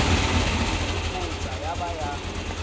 mo tsokotsa ya ba ya